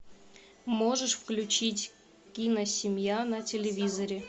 можешь включить киносемья на телевизоре